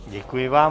Děkuji vám.